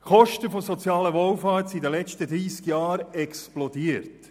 Die Kosten für die soziale Wohlfahrt sind in den vergangenen 30 Jahren explodiert.